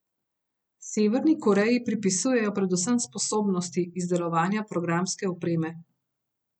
Severni Koreji pripisujejo predvsem sposobnosti izdelovanja programske opreme.